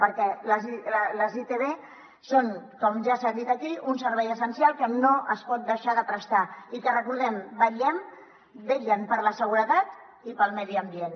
perquè les itv són com ja s’ha dit aquí un servei essencial que no es pot deixar de prestar i que recordem ho vetllen per la seguretat i pel medi ambient